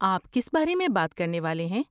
آپ کس بارے میں بات کرنے والے ہیں؟